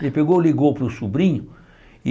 Ele pegou, ligou para o sobrinho e...